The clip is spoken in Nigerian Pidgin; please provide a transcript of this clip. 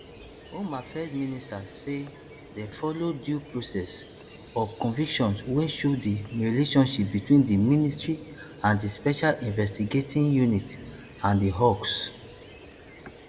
home affairs minister say dem follow due process of convictions wey show di relationship between di ministry and di special investigating unit and di hawks